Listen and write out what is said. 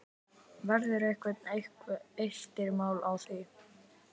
Verða einhver eftirmál að því?